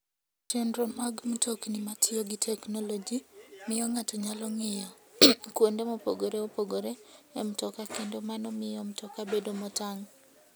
Chenro mag mtokni matiyo gi teknoloji miyo ng'ato nyalo ng'iyo kuonde mopogore opogore e mtoka kendo mano miyo mtoka bedo motang'.